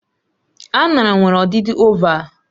Aṅara nwere ọdịdị ovalvụ